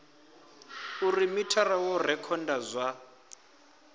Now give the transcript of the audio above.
uri mithara wo rekhoda zwa